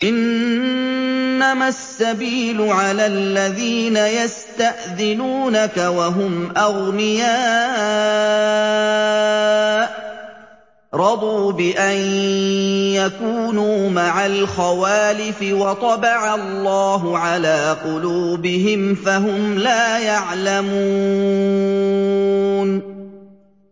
۞ إِنَّمَا السَّبِيلُ عَلَى الَّذِينَ يَسْتَأْذِنُونَكَ وَهُمْ أَغْنِيَاءُ ۚ رَضُوا بِأَن يَكُونُوا مَعَ الْخَوَالِفِ وَطَبَعَ اللَّهُ عَلَىٰ قُلُوبِهِمْ فَهُمْ لَا يَعْلَمُونَ